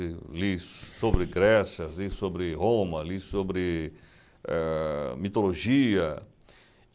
Eu li sobre Grécia, li sobre Roma, li sobre, ãh, mitologia.